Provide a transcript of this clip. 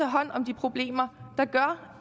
hånd om de problemer